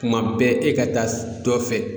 Tuma bɛɛ e ka taa dɔ fɛ